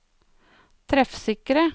treffsikre